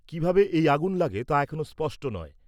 কিভাবে এই আগুন লাগে তা এখনও স্পষ্ট নয়।